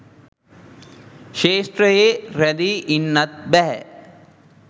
ක්ෂේත්‍රයේ රැඳී ඉන්නත් බැහැ.